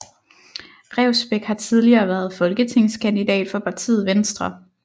Revsbæk har tidligere været folketingskandidat for partiet Venstre